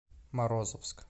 морозовск